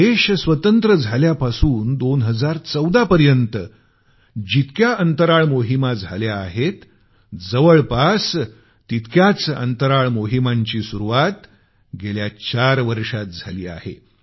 देश स्वतंत्र झाल्यापासून 2014 पर्यंत जितक्या अंतराळ मोहिमा झाल्या आहेत जवळपास तितक्याच अंतराळ मोहिमांची सुरुवात गेल्या चार वर्षांत झाली आहे